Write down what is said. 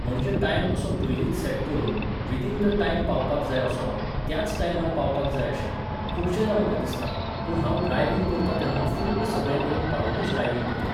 म्हणजे टायम असो पयलींच सॅट करून, विदिन द टायम पावपाक जाय असो, त्याच टायमार पावपाक जाय अशें, खुबशेंदां म्हाका दिसता, पूण हांव ड्रायविंग करतां तेन्ना फुल्ल सगळे नेम पाळूनूच ड्रायविंग करतां.